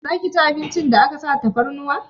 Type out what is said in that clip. Zaki ci abincin da aka sa tafarnuwa?